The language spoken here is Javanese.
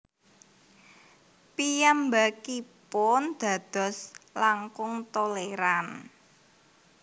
Piyambakipun dados langkung tolèran